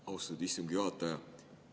Austatud istungi juhataja!